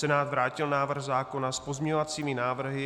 Senát vrátil návrh zákona s pozměňovacími návrhy.